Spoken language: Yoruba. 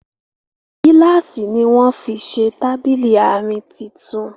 gíláàsì ní wón fí ṣe Tábìlì Àárín títún